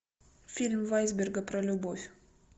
фильм вайсберга про любовь